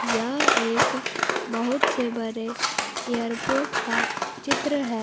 यह एक बहुत से बरे एयरपोर्ट का चित्र है।